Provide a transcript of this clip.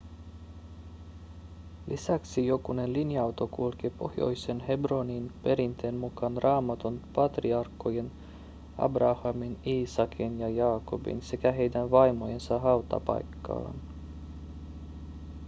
lisäksi jokunen linja-auto kulkee pohjoiseen hebroniin perinteen mukaan raamatun patriarkkojen abrahamin iisakin ja jaakobin sekä heidän vaimojensa hautapaikkaan